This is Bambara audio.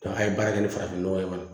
a ye baara kɛ ni farafin nɔgɔ ye fana